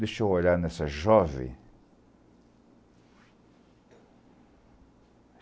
Deixa eu olhar nessa jovem.